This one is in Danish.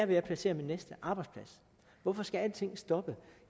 vil jeg placere min næste arbejdsplads hvorfor skal alting stoppe